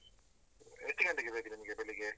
ಎಷ್ಟು ಗಂಟೆಗೆ ಬೇಕು ನಿಮ್ಗೆ ಬೆಳಿಗ್ಗೆ?